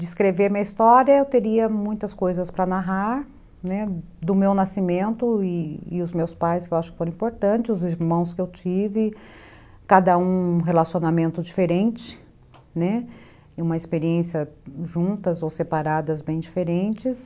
De escrever minha história, eu teria muitas coisas para narrar, né, do meu nascimento e os meus pais, que eu acho que foram importantes, os irmãos que eu tive, cada um um relacionamento diferente, uma experiência juntas ou separadas bem diferentes.